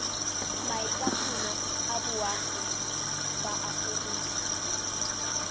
maitatolo a boagi ba aforika